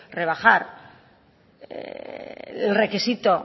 rebajar el requisito